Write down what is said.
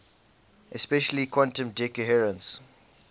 especially quantum decoherence